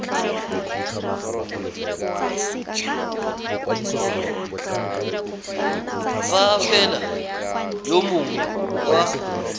fa fela yo mongwe wa